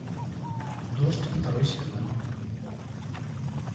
дождь второй сезон